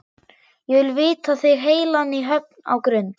Ég vil vita þig heilan í höfn á Grund.